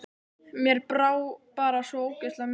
Mér brá bara svo ógeðslega mikið.